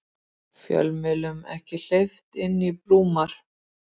Fjölmiðlum ekki hleypt inn í Búrma